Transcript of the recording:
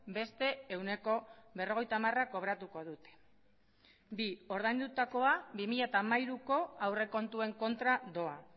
beste ehuneko berrogeita hamara kobratuko dute bi ordaindutakoa bi mila hamairuko aurrekontuen kontra doa